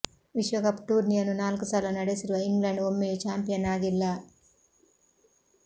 ವಿಶ್ವ ಕಪ್ ಟೂರ್ನಿಯನ್ನು ನಾಲ್ಕು ಸಲ ನಡೆಸಿರುವ ಇಂಗ್ಲೆಂಡ್ ಒಮ್ಮೆಯೂ ಚಾಂಪಿಯನ್ ಆಗಿಲ್ಲ